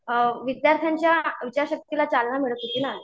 विद्यार्थ्यांच्या इच्छाशक्तीला चालना मिळत होती ना